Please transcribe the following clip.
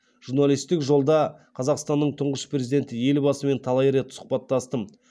журналистік жолда қазақстанның тұңғыш президенті елбасымен талай рет сұқбаттастым